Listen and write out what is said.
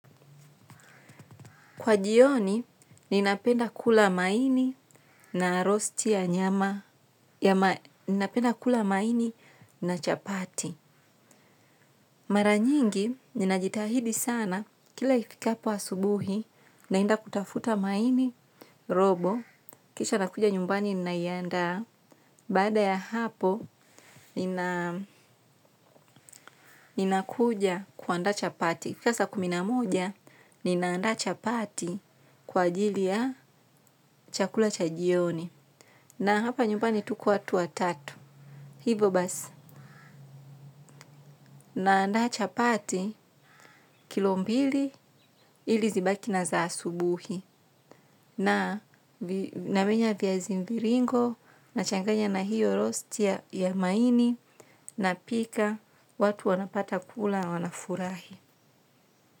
Kwa jioni ninapenda kula maini na roast ya nyama, napenda kula maini na chapati. Mara nyingi, ninajitahidi sana, kila ifikapo asubuhi, naenda kutafuta maini robo, kisha nakuja nyumbani ninaiandaa, baada ya hapo, ninakuja kuandaa chapati. Saa za kumi na moja, nina andaa chapati kwa ajili ya chakula cha jioni. Na hapa nyumbani tuko watu watatu. Hivo basi. Na andaa chapati kilo mbili ili zibaki na za asubuhi. Na namenya vyazi mviringo nachanganya na hiyo rosti ya maini napika watu wanapata kula wanafurahi.